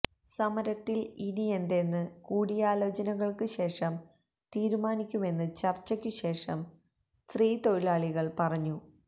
സമരത്തിൽ ഇനിയെന്തെന്ന് കൂടിയാലോചനകൾക്ക് ശേഷം തീരുമാനിക്കുമെന്ന് ചർച്ചക്കു ശേഷം സ്ത്രീ തൊഴിലാളികൾ പറഞ്ഞു